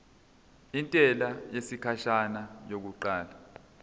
intela yesikhashana yokuqala